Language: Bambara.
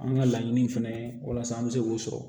An ka laɲini fɛnɛ ye walasa an bɛ se k'o sɔrɔ